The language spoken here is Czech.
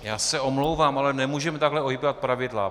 Já se omlouvám, ale nemůžeme takhle ohýbat pravidla.